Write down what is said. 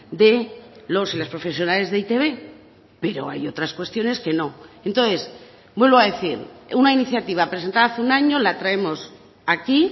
de los y las profesionales de e i te be pero hay otras cuestiones que no entonces vuelvo a decir una iniciativa presentada hace un año la traemos aquí